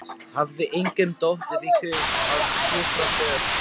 Hafði engum dottið í hug að hjúkra fyrr?